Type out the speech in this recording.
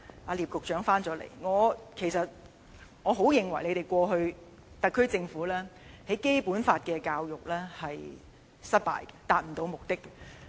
聶德權局長回來了，我認為你們過去，特區政府的《基本法》教育是失敗的，並未能達到目的。